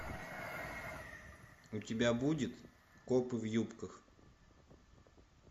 у тебя будет копы в юбках